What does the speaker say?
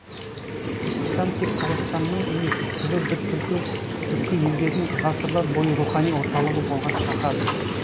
түркістан тек қазақстанның емес түбі бір түркі елдерінің ғасырлар бойы рухани орталығы болған шаһар